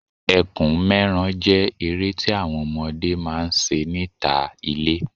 Ẹkùn mẹ́ran jẹ́ eré tí àwọn ọmọdé máa ń ṣe níta ilé